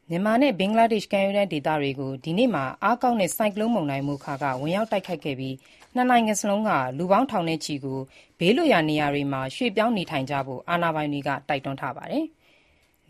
မြန်မာနဲ့ ဘင်္ဂလားဒေ့ရှ် ကမ်းရိုးတန်းဒေသတွေကို တနင်္ဂနွေနေ့မှာ အားကောင်းတဲ့ ဆိုင်ကလုန်းမုန်တိုင်း မိုခါ (Mocha) ဝင်ရောက်တိုက်ခတ်ခဲ့ပြီး နှစ်နိုင်ငံစလုံးက လူထောင်နဲ့ချီကို ဘေးလွတ်ရာနေရာတွေမှာ ရွေ့ပြောင်းခိုလှုံကြဖို့ အာဏာပိုင်တွေက တိုက်တွန်းထားပါတယ်။